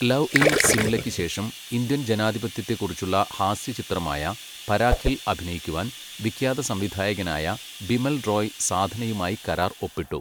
Love in സിംലയ്ക്ക്' ശേഷം, Indian ജനാധിപത്യത്തെക്കുറിച്ചുള്ള ഹാസ്യചിത്രമായ 'പരാഖിൽ' അഭിനയിക്കുവാൻ വിഖ്യാതസംവിധായകനായ ബിമൽ റോയ് സാധനയുമായി കരാർ ഒപ്പിട്ടു.